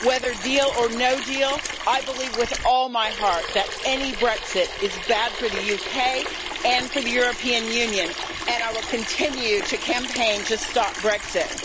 Whether deal or no deal, I believe with all my heart that any Brexit is bad for the UK and for the European Union, and I will continue to campaign to stop Brexit.